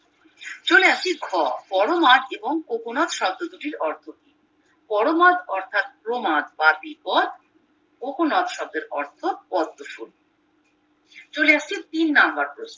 চলে আসি ঘ পরমাদ এবং কোকোনাদ শব্দটির অর্থ কি পরমাদ অর্থাৎ প্রমাদবাকিপদ কোকোনাদ শব্দের অর্থ পদ্মফুল চলে আসছি তিন নাম্বার প্রশ্নে